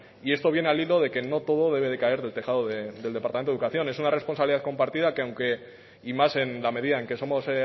y esto viene al hilo de que no todo debe de caer del tejado del departamento de educación es una responsabilidad compartida que aunque y más en la medida en que somos